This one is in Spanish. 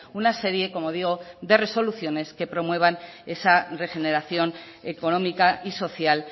una serie como digo de resoluciones que promuevan esa regeneración económica y social